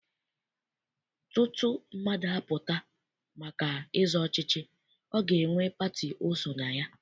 Tutu mmadụ apụta maka ịzọ ọchịchị, ọ ga-enwe pati o so na ya.